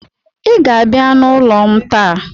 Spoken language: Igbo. I ga-abịa n'ụlọ m taa.